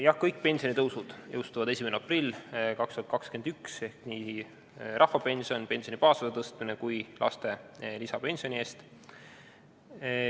Jah, kõik pensionitõusud jõustuvad 1. aprillil 2021, nii rahvapensioni ja pensioni baasosa tõstmine kui ka lisapension laste eest.